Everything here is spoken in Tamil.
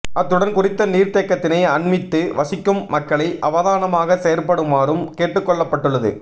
அத்துடன் குறித்த நீர்த்தேக்கத்தினை அண்மித்து வசிக்கும் மக்களை அவதானமாக செயற்படுமாறும் கேட்டுக்கொள்ளப்பட்டுள்ளது